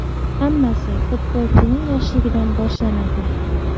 Hammasi futbolchining yoshligidan boshlanadi.